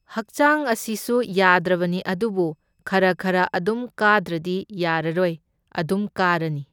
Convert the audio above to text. ꯍꯛꯆꯥꯡ ꯑꯁꯤꯁꯨ ꯌꯥꯗ꯭ꯔꯕꯅꯤ ꯑꯗꯨꯕꯨ ꯈꯔ ꯈꯔ ꯑꯗꯨꯝ ꯀꯥꯗ꯭ꯔꯗꯤ ꯌꯥꯔꯔꯣꯏ, ꯑꯗꯨꯝ ꯀꯥꯔꯅꯤ꯫